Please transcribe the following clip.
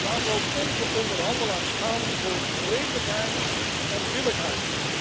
Laat ook onze onderhandelaars gaan voor redelijkheid en billijkheid.